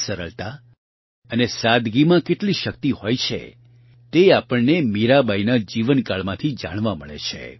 સરળતા અને સાદગીમાં કેટલી શક્તિ હોય છે તે આપણને મીરાબાઇના જીવનકાળમાંથી જાણવા મળે છે